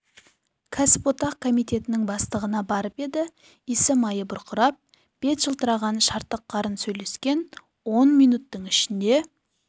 кәсіподақ комитетінің бастығына барып еді иісі майы бұрқырап бет жылтыраған шартық қарын сөйлескен он минуттың ішінде